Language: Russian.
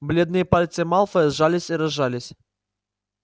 бледные пальцы малфоя сжались и разжались